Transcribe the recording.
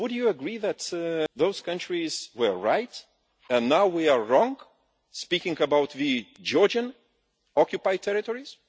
Would you agree that those countries were right and now we are wrong, speaking about the Georgian occupied territories?